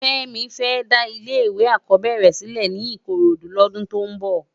Femi fè dá ilé èkò ákòbèrè silè ni ikorodu lòdún tó n bò